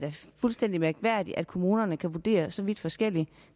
fuldstændig mærkværdigt at kommunerne kan vurdere så vidt forskelligt